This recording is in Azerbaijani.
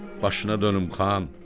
Başına dönüm, xan.